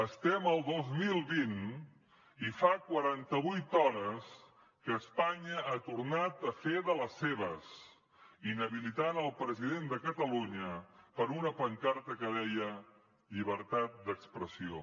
estem al dos mil vint i fa quaranta vuit hores que espanya ha tornat a fer de les seves inhabilitant el president de catalunya per una pancarta que deia llibertat d’expressió